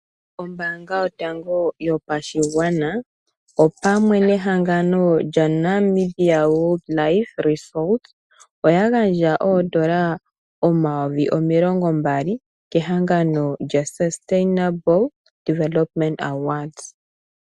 Ombaanga yotango yopashigwana pamwe nehangano lyoNamibia wildlife resources oyagandja N$20 000 kehangano lyaSustainable Development Awards.